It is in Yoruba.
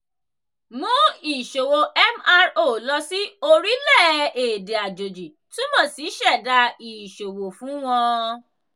mú ìṣòwò mro lọ sí orilẹ-èdè àjèjì túmọ̀ sí ṣẹ̀dá ìṣòwò fún wọn.